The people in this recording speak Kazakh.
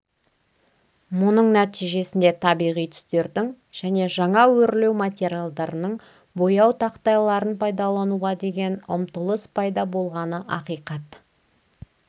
мұның нәтижесінде табиғи түстердің және жаңа өрлеу материалдарының бояу тақтайларын пайдалануға деген ұмтылыс пайда болғаны ақиқат